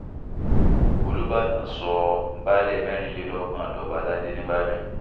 olùbàdàn sọ baálé mẹ́rìnlélọ́gbọ̀n dọ́ba aládé nìbàdàn